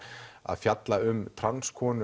að fjalla um